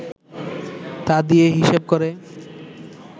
তা দিয়ে হিসেব করে